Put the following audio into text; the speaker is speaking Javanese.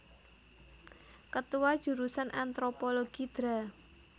Ketua Jurusan Antropologi Dra